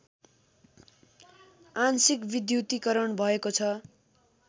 आंशिक विद्युतीकरण भएको छ